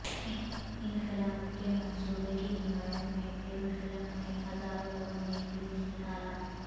انخلا کے منصوبے کی حمایت میں یروشلم میں ہزاروں لوگوں نے جلوس نکالا